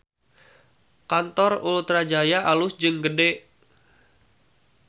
Kantor Ultra Jaya alus jeung gede